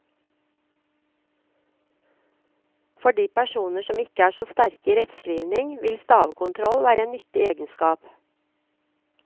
For personer som ikke er så sterke i rettskrivning, vil stavekontroll være en nyttig egenskap.